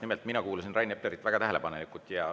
Nimelt, ma kuulasin Rain Eplerit väga tähelepanelikult.